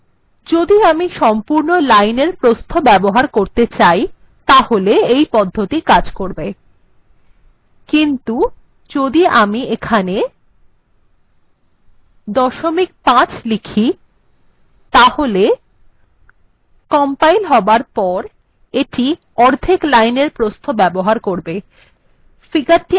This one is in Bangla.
যদি আমি সম্পূর্ণ লাইনএর প্রস্থ ব্যবহার করতে চাই তাহলে এই পদ্ধতি কাজ করবে কিন্তু যদি আমি এখানে দশমিক ৫ লিখি তাহলে কম্পাইল হবার পর এটি অর্ধেক লাইনএর প্রস্থ ব্যবহার করবে